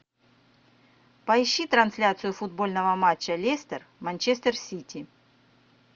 поищи трансляцию футбольного матча лестер манчестер сити